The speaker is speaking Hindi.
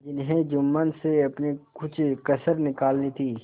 जिन्हें जुम्मन से अपनी कुछ कसर निकालनी थी